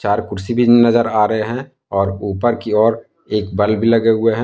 चार कुर्सी भी नजर आ रहे है और ऊपर की ओर एक बल्ब लगे हुए हैं।